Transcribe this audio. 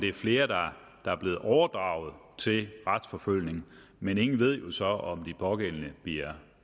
er flere der er blevet overdraget til retsforfølgning men ingen ved jo så om de pågældende bliver